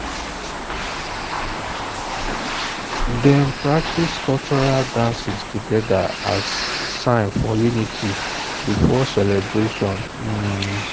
dem practice cultural dances together as sign for unity before celebration. um